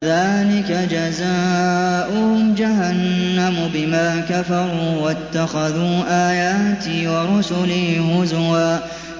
ذَٰلِكَ جَزَاؤُهُمْ جَهَنَّمُ بِمَا كَفَرُوا وَاتَّخَذُوا آيَاتِي وَرُسُلِي هُزُوًا